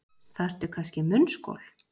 Þarftu kannski munnskol.